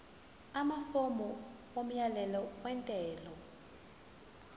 amafomu omyalelo wentela